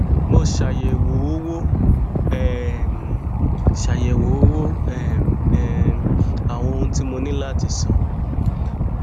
mo ṣàyèwò owo um ṣàyèwò owo um àwọn ohun tí mo ní láti san